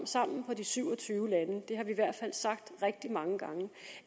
sammen på de syv og tyve lande det har vi i hvert fald sagt rigtig mange gange